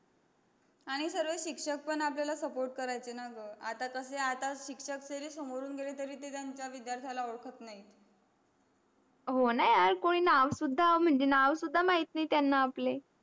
आन्ही सर्व सिक्सक पण आपले suport करायचं न ग आता तसे आता सिक्सक समोरून गेले तरी ओद्क्त नाही हो न यार नाव सुधा नावसुद्धा माहित नाही त्यांना आपले.